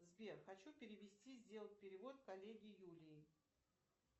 сбер хочу перевести сделать перевод коллеге юлии